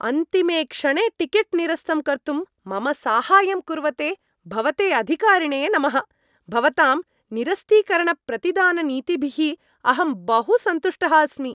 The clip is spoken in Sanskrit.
अन्तिमे क्षणे टिकेट् निरस्तं कर्तुं मम साहाय्यं कुर्वते भवते अधिकारिणे नमः, भवतां निरस्तीकरणप्रतिदाननीतिभिः अहं बहु सन्तुष्टः अस्मि।